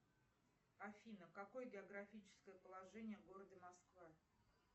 афина какое географическое положение города москва